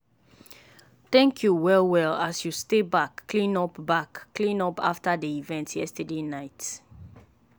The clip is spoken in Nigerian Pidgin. i thank you sey you no rush me as i dey try sort out all those form.